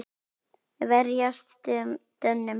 Verjast Dönum!